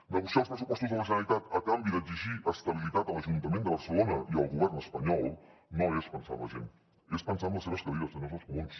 negociar els pressupostos de la generalitat a canvi d’exigir estabilitat a l’ajuntament de barcelona i al govern espanyol no és pensar en la gent és pensar en les seves cadires senyors dels comuns